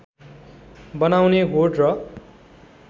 बनाउने होड र